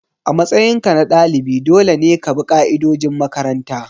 A matsayinka na dalibi dole ne ka bi ka'idojin makaranta.